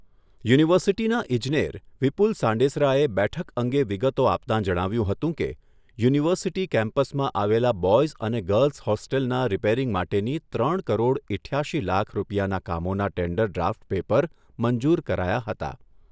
યુનિવર્સિટીના ઈજનેર વિપુલ સાંડેસરાએ બેઠક અંગે વિગતો આપતાં જણાવ્યુંં હતું કે, યુનિવર્સિટી કેમ્પસમાં આવેલા બોયઝ અને ગર્લ્સ હોસ્ટેલના રીપેરીંગ માટેની ત્રણ કરોડ ઇઠ્યાશી લાખ રૂપિયાના કામોના ટેન્ડર ડ્રાફ્ટ પેપર મંજુર કરાયા હતા.